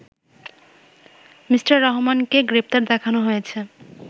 me রহমানকে গ্রেপ্তার দেখানো হয়েছে